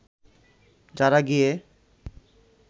যারা গিয়ে